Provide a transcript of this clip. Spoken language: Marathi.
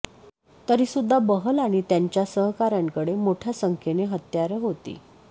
तरीसुद्धा बहल आणि त्यांच्या सहकाऱ्यांकडे मोठ्या संख्येनं हत्यारं होती